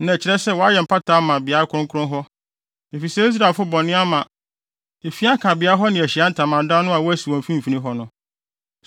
Na ɛkyerɛ sɛ wayɛ mpata ama beae kronkron hɔ, efisɛ Israelfo bɔne ama efi aka beae hɔ ne Ahyiae Ntamadan no a wɔasi wɔ wɔn mfimfini hɔ no.